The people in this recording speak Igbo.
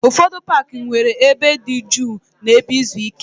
Ụfọdụ paaki nwere ebe dị jụụ na ebe izu ike.